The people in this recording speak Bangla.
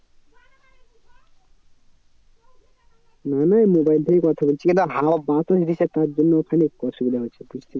না না mobile থেকেই কথা বলছি। এখানে হাওয়া বাতাস দিচ্ছে তার জন্য খানিক অসুবিধা হচ্ছে